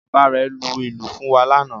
Bàbá rẹ̀ lu ìlù fún wa lánàá